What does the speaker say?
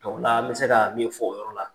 o la an bɛ se ka min fɔ o yɔrɔ la